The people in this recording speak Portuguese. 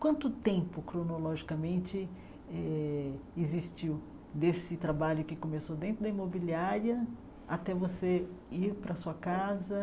Quanto tempo cronologicamente eh existiu desse trabalho que começou dentro da imobiliária até você ir para a sua casa?